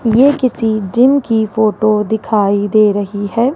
ये किसी जिम की फोटो दिखाई दे रही है।